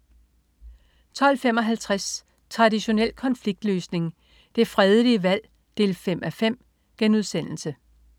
12.55 Traditionel konfliktløsning. Det fredelige valg 5:5*